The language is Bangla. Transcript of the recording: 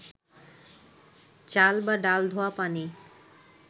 চাল বা ডাল ধোয়া পানি